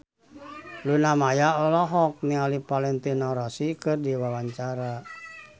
Luna Maya olohok ningali Valentino Rossi keur diwawancara